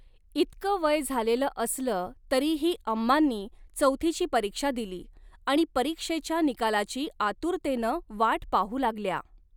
इतकं वय झालेलं असलं तरीही अम्मांनी चैाथीची परीक्षा दिली आणि परीक्षेच्या निकालाची आतुरतेनं वाट पाहू लागल्या.